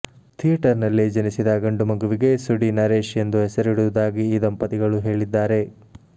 theatre ನಲ್ಲೇ ಜನಿಸಿದ ಗಂಡುಮಗುವಿಗೆ ಸುಡಿ ನರೇಶ್ ಎಂದು ಹೆಸರಿಡುವುದಾಗಿ ಈ ದಂಪತಿಗಳು ಹೇಳಿದ್ದಾರೆ